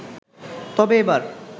তবে এবার